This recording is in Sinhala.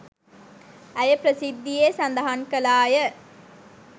ඇය ප්‍රසිද්ධියේ සදහන් කළාය.